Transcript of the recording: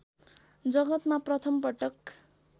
जगतमा प्रथम पटक